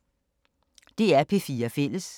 DR P4 Fælles